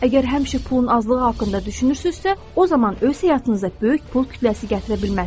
Əgər həmişə pulun azlığı haqqında düşünürsünüzsə, o zaman öz həyatınızda böyük pul kütləsi gətirə bilməzsiniz.